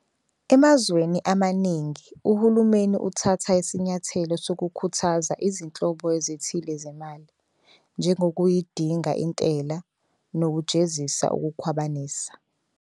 Emazweni amaningi, uhulumeni uthatha isinyathelo sokukhuthaza izinhlobo ezithile zemali, njengokuyidinga intela nokujezisa ukukhwabanisa.